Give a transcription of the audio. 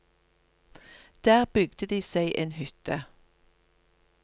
Der bygde de seg en hytte.